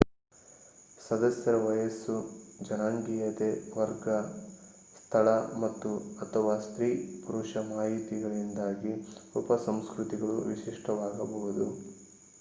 ಸದಸ್ಯರ ವಯಸ್ಸು ಜನಾಂಗೀಯತೆ ವರ್ಗ ಸ್ಥಳ ಮತ್ತು/ಅಥವಾ ಸ್ತ್ರೀ/ಪುರುಷ ಮಾಹಿತಿಯಿಂದಾಗಿ ಉಪಸಂಸ್ಕೃತಿಗಳು ವಿಶಿಷ್ಟವಾಗಬಹುದು